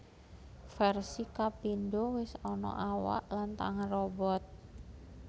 Versi kapindo wis ana awak lan tangan robot